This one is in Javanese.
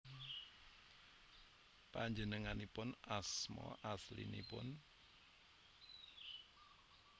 Panjenenganipun asma aslinipun